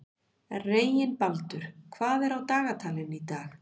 Reginbaldur, hvað er á dagatalinu í dag?